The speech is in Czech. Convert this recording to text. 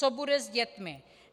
Co bude s dětmi?